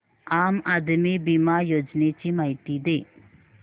आम आदमी बिमा योजने ची माहिती दे